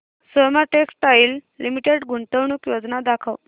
Soma textile limited गुंतवणूक योजना दाखव